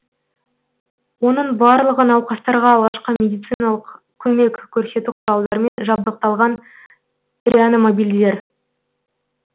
оның барлығы науқастарға алғашқы медициналық көмек көрсету құралдармен жабдықталған реаномобильдер